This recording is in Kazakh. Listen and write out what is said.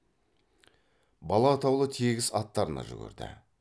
бала атаулы тегіс аттарына жүгірді